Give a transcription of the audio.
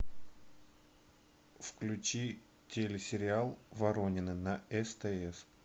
включи телесериал воронины на стс